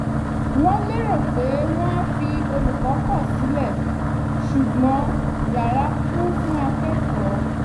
wọ́n lérò pé wọn á fi olùkọ́ pọ̀ sílẹ̀ ṣùgbọ́n yara kún fún akẹ́kọ̀ọ́